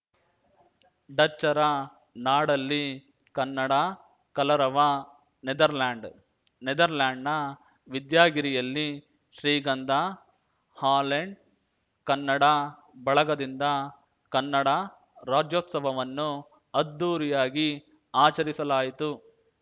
ಡಚ್ಚರ ನಾಡಲ್ಲಿ ಕನ್ನಡ ಕಲರವ ನೆದರ್‌ಲ್ಯಾಂಡ್‌ ನೆದರ್‌ಲ್ಯಾಂಡ್‌ನ ವಿದ್ಯಾಗಿರಿಯಲ್ಲಿ ಶ್ರೀಗಂಧ ಹಾಲೆಂಡ್ ಕನ್ನಡ ಬಳಗದಿಂದ ಕನ್ನಡ ರಾಜ್ಯೋತ್ಸವವನ್ನು ಅದ್ಧೂರಿಯಾಗಿ ಆಚರಿಸಲಾಯಿತು